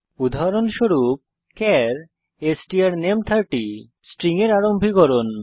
উদাহরণস্বরূপ চার strname30 string এর আরম্ভীকরণ